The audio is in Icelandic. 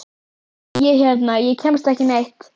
Ég hérna. ég kemst ekki neitt.